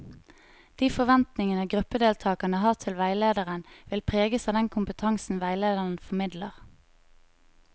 De forventningene gruppedeltakerne har til veilederen, vil preges av den kompetansen veilederen formidler.